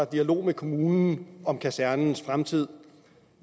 dialog med kommunen om kasernens fremtid